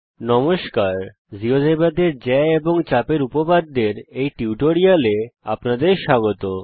নমস্কার জীয়োজেব্রাতে জ্যা এবং চাপ এর উপপাদ্যের এই টিউটোরিয়ালে আপনাদের স্বাগত